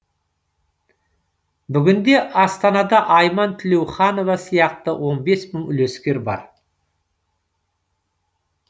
бүгінде астанада айман тілеуханова сияқты он бес мың үлескер бар